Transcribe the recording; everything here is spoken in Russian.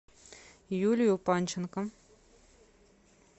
юлию панченко